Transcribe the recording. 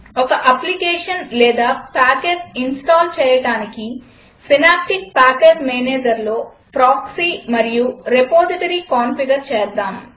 ఒక అప్లికేషన్ లేదా package install చేయడానికి సినాప్టిక్ ప్యాకేజ్ managerలో ప్రాక్సీ మరియు రిపాజిటరీ కాన్ఫిగర్ చేద్దాం